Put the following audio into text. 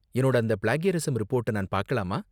என்னோட அந்த பிளேக்யரிஸம் ரிப்போர்ட்ட நான் பாக்கலாமா?